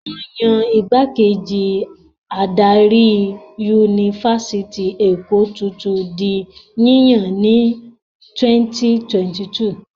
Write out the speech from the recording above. Wọ́n yan ìgbákejì adarí Yunifásítì Èkó tuntun di yíyàn ní 2022.